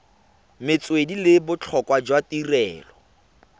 metswedi le botlhokwa jwa tirelo